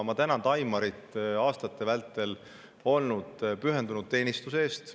Ma tänan Taimarit pühendunud teenistuse eest aastate vältel.